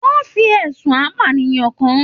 Wọn fí ẹsùn apànìyàn kán.